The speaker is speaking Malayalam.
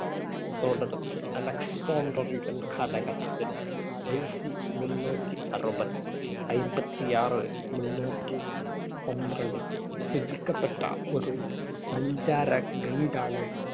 ~കത്തോടടുത്ത് അലക്സാൻഡ്രിയൻ കാലഘട്ടത്തിൽ BC മുന്നൂറ്റി അറുപത്തി അയ്‌മ്പത്തി ആറ് മുന്നൂറ്റി പന്ത്രണ്ട് രചിക്കപ്പെട്ട ഒരു സഞ്ചാര ഗൈഡാണ്